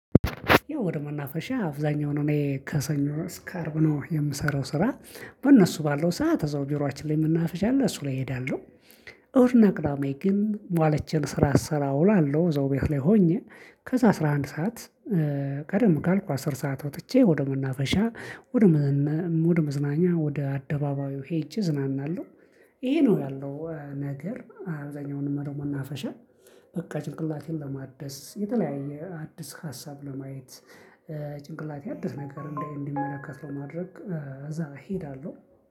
ያው ወደ መናፈሻ አብዛኛውን እኔ ከሰኞ እስከ አርብ ነው የምሰራው ስራ። በእነሱ ባለው ሰዓት እዛው ቢሯችን ላይ መናፍሻ አለ እሱ ላይ እሄዳለሁ። እሁድ እና ቅዳሜ ግን ማለ ቼክ ስሰራ እውላለሁ እዛው ቢሮየ ላይ ሆኜ። ከዛ አስራ አንድ ሰዓት። ቀደም ካልኩ አስር ሰዓት ወጥቼ ወደ መናፈሻ ወደ መዝን ወደ መዝናኛ ወደ አደባባዩ ሄጄ እዝናናለሁ። ይሄ ነው ያለው ነገር አብዛኛውን መርህ መናፈሻ። በቃ ጭንቅላቴን ለማደስ የተለያየ አዲስ ሀሳብ ለማየት። ጭንቅላቴ አዲስ ነገር እንዲያይ እንዲመለከት ለማድረግ እዛ እሄዳለሁ